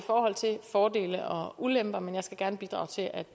af fordele og ulemper men jeg skal gerne bidrage til at